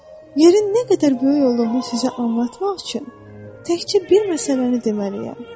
Yerin nə qədər böyük olduğunu sizə anlatmaq üçün təkcə bir məsələni deməliyəm.